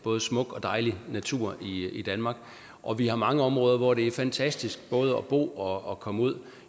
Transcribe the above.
både smuk og dejlig natur i danmark og vi har mange områder hvor det er fantastisk både at bo og og komme ud